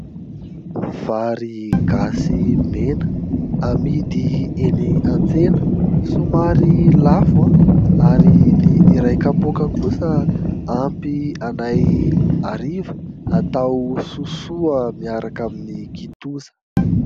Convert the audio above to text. Vary gasy mena amidy eny antsena somary lafo ary ny iray kapoaka kosa ampy anay hariva atao sosoa miaraka amin'ny kitoza.